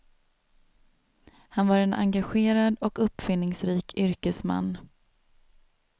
Han var en engagerad och uppfinningsrik yrkesman.